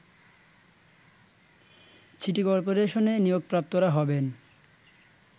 city করপোরেশনে নিয়োগপ্রাপ্তরা হবেন